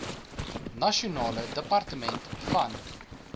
nasionale departement van